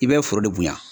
I bɛ foro bonya